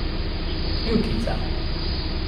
Kljukica.